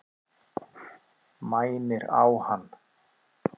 Mænir á hann.